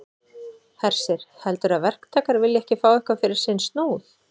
Hersir: Heldurðu að verktakar vilji ekki fá eitthvað fyrir sinn snúð?